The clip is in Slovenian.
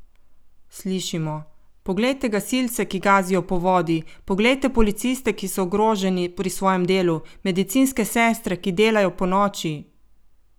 Slišimo: "poglejte gasilce, ki gazijo po vodi, poglejte policiste, ki so ogroženi pri svojem delu, medicinske sestre, ki delajo ponoči" ...